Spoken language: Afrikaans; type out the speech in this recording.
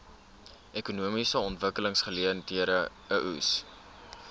ekonomiese ontwikkelingseenhede eoes